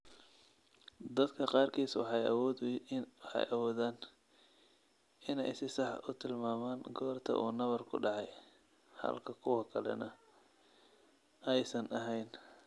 Dadka qaarkiis waxay awoodaan inay si sax ah u tilmaamaan goorta uu nabarku dhacay, halka kuwa kalena aysan ahayn.